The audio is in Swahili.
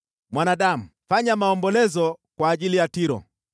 “Mwanadamu, fanya maombolezo kwa ajili ya Tiro.